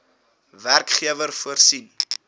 werkgewer voorsien